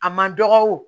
A ma dɔgɔ wo